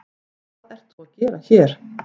Hvað ert þú að gera hér?